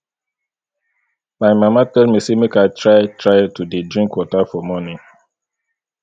my mama tell me say make i try try to dey drink water for morning